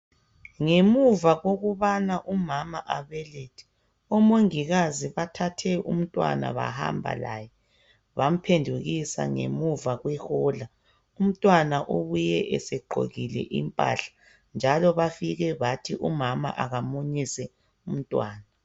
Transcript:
Ngemuva kokubana umama abelethe. Omongikazi bathathe umntwana bahambalaye .Bamuphendukisa ngemuva kwehola , umntwana ubuye esegqokile impahla. Njalo bafike bathi umama akamunyise umntwana.